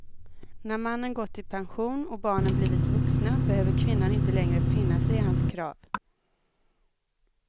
När mannen gått i pension och barnen blivit vuxna behöver kvinnan inte längre finna sig i hans krav.